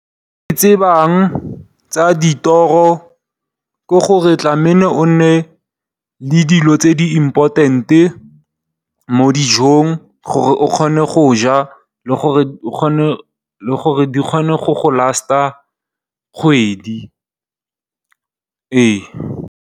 Se ke se tsebang ka tsa dithoro ke gore tlameile o nne le dilo tse di important mo dijong gore o kgone go ja le gore di kgone go go lasta kgwedi.